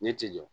Ne ti jɔ